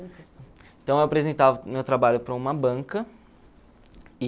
Então, eu apresentava o meu trabalho para uma banca e...